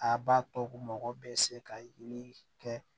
A b'a to mɔgɔ bɛ se ka yeli kɛ